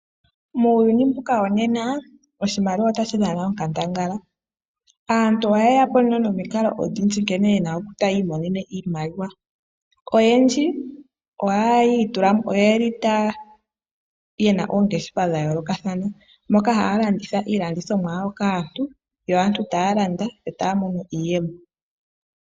Muuyuni mbuka wonena oshimaliwa otashi dhana onkandangala. Aantu oha ye yapo nomikalo odhindji nkene ye na ta yi imonene iimaliwa. Oyendji oye li ye na oongeshefa dha yoolokathana moka ha ya landitha iilandithomwa yawo kaantu. Aantu Oha ye yapo nomikalo odhindji nkene ta yi imonene iimaliwa. Oyendji oyeli yena oongeshefa dha yoolokathana moka ha ya landitha iilandithomwa yawo kaantu yo aantu ta ya landa yo ta ya mono iiyemo.